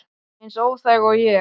Eins óþæg og ég?